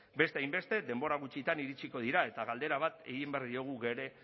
beste hainbeste denbora gutxian iritsiko dira eta galdera bat egin behar diogu geure